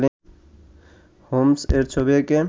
হোমস-এর ছবি এঁকে